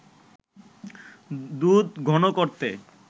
দুধ ঘন করতে